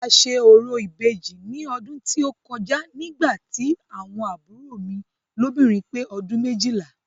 A ṣe orò Ìbejì ní ọdún tí ó kọjá nígbà tí àwọn àbúrò mi lóbìnrin pé ọdún méjìlá.